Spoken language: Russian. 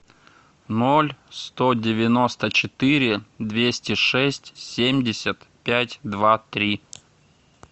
ноль сто девяносто четыре двести шесть семьдесят пять два три